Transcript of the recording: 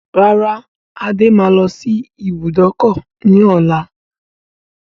Rárá, Adé máa lọ sí ibùdókọ̀ ni ọ̀la.